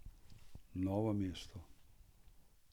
Novo mesto.